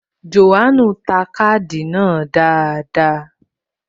John ta káàdì náà dáadáa